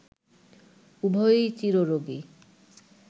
উভয়ই চিররোগী